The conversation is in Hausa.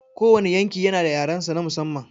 Kowane yanki yana da yarensa na musamman.